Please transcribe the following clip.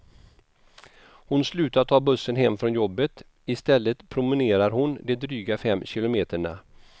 Hon slutar ta bussen hem från jobbet, i stället promenerar hon de dryga fem kilometerna.